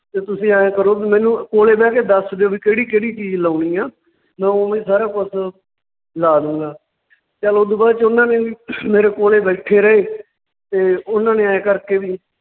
ਤੇ ਤੁਸੀਂ ਐਂ ਕਰੋ ਵੀ ਮੈਨੂੰ ਕੋਲੇ ਬਹਿ ਕੇ ਦੱਸ ਦਿਉ ਵੀ ਕਿਹੜੀ ਕਿਹੜੀ ਚੀਜ ਲਾਉਣੀ ਆਂ, ਮੈਂ ਉਵੇਂ ਹੀ ਸਾਰਾ ਕੁਛ ਲਾ ਦਉਗਾ ਚੱਲ ਓਦੂ ਬਾਅਦ 'ਚ ਉਹਨਾਂ ਨੇ ਵੀ ਮੇਰੇ ਕੋਲੇ ਬੈਠੇ ਰਹੇ ਤੇ ਉਹਨਾਂ ਨੇ ਐਂ ਕਰਕੇ ਵੀ